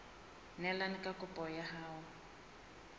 neelane ka kopo ya hao